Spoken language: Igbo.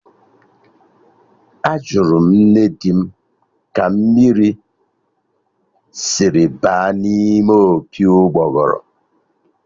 Ajụrụ m nne di m ka mmiri dịrị baa n'ime opi ụgbọgụrụ